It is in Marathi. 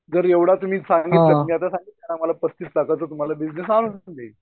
जर एवढं तुम्ही तर आम्हाला पस्तीस लाखाचा बिजनेस तुम्ही